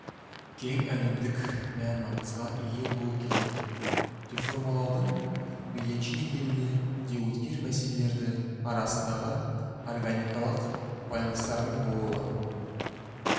кең әлемдік мән-маңызға ие болып келеді реформалаудың мейілінше келелі де өткір мәселелері арасындағы органикалық байланыстардың болуы